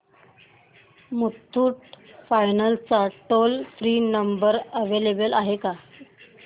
Muthoot finance चा toll free number available आहे का